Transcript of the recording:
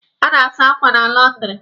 A na-asa akwa na lọndịrị.